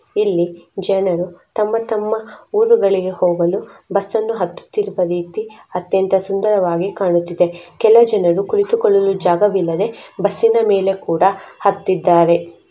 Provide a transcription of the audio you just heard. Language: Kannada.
ಇಲ್ಲಿ ಜನರು ತಮ್ಮ ತಮ್ಮ ಊರುಗಳಿಗೆ ಹೋಗಲು ಬಸ್ ಅನ್ನು ಹತ್ತತಿರುವ ರೀತಿ ಅತ್ಯಂತ ಸುಂದರವಾಗಿ ಕಾಣುತಿದೆ. ಕೆಲ ಜನರು ಕುಳಿತುಕೊಳ್ಳಲು ಜಾಗವಿಲ್ಲದೆ ಬಸ್ ಇನ ಮೇಲೆ ಕೂಡಾ ಹತ್ತಿದ್ದಾರೆ.